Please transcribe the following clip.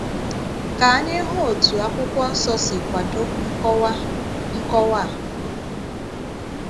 Ka ànyị hụ otú akwụkwọ nsọ si kwàdò nkọ̀wà nkọ̀wà a.